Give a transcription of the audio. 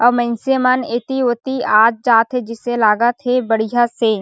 अउ मइनसे मन एति-ओती आत-जात हे जैसे लागत हे बढ़िया से--